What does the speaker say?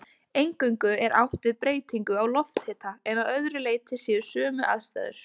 Eingöngu er átt við breytingu á lofthita en að öðru leyti séu sömu aðstæður.